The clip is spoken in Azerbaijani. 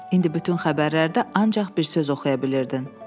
İndi bütün xəbərlərdə ancaq bir söz oxuya bilirdin: müharibə.